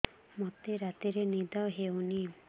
ମୋତେ ରାତିରେ ନିଦ ହେଉନି